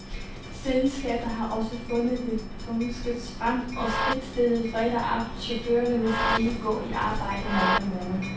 Selskabet har også fundet det tunge skyts frem og fritstillede fredag aften chaufførerne, hvis de ikke går i arbejde mandag morgen.